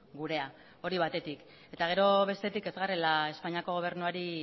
gurea hori batetik eta gero bestetik ez garela espainiako gobernuari